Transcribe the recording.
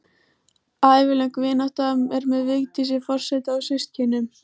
Ævilöng vinátta er með Vigdísi forseta og systkinunum